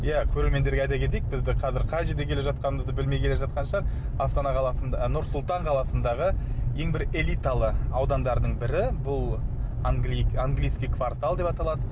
иә көрермендерге айта кетейік бізді қазір қай жерде келе жатқанымызды білмей келе жатқан шығар астана нұр сұлтан қаласындағы ең бір элиталы аудандарының бірі бұл английский квартал деп аталады